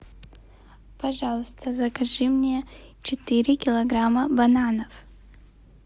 пожалуйста закажи мне четыре килограмма бананов